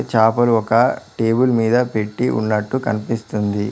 చాపలు ఒక టేబుల్ మీద పెట్టి ఉన్నట్టు కన్పిస్తుంది.